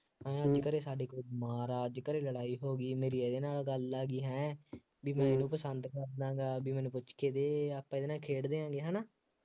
ਆਈਂ ਘਰੇ ਸਾਡੇ ਕੋਈ ਮਹਾਰਾਜ, ਅੱਜ ਘਰੇ ਲੜਾਈ ਹੋ ਗਈ, ਮੇਰੀ ਇਹਦੇ ਨਾਲ ਗੱਲ ਆ ਗਈ ਹੈਂ ਬਈ ਮੈਨੂੰ ਤਾਂ ਸ਼ੰਦ ਬਾਬਿਆਂ ਦਾ ਬਈ ਮੈਨੂੰ ਪੁੱਛ ਕੇ ਦੇ, ਆਪਾਂ ਇਹਦੇ ਨਾਲ ਖੇਡਦੇ ਹਾਂ ਬਈ ਹੈ ਨਾ,